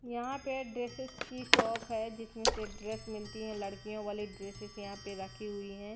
यहां पे ड्रेसेस की शॉप है जिसमें से ड्रेस मिलती हैं लड़कियों वाली ड्रेसेस यहां पे रखी हुई हैं।